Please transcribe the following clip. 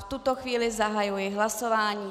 V tuto chvíli zahajuji hlasování.